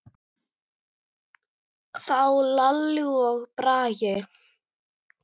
Þá Lalli og Bragi.